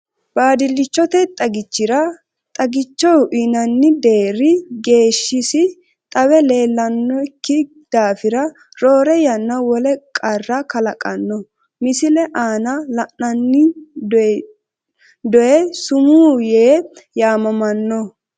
Baadillichote xagichira xagicho uyinanni deerri geeshshisi xawe leellan nokki daafira roore yanna wole qarra kalaqanno, Misile aana la’inanni dony su’my aye yaamamanno?